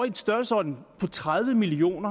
en størrelsesorden på tredive million